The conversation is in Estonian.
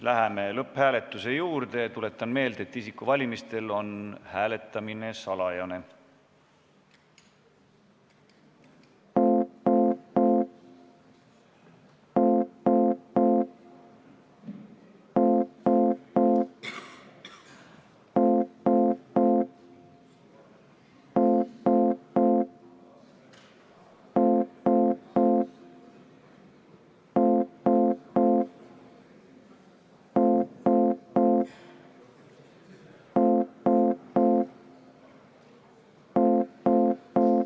Läheme lõpphääletamise juurde ja tuletan meelde, et isikuvalimistel on hääletamine salajane.